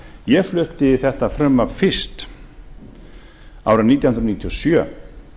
ég flutti þetta frumvarp fyrst árið nítján hundruð níutíu og sjö